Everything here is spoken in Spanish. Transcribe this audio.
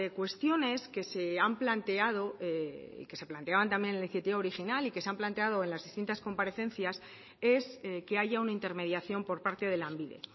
cuestiones que se han planteado y que se planteaban también en la iniciativa original y que se han planteado en las distintas comparecencias es que haya una intermediación por parte de lanbide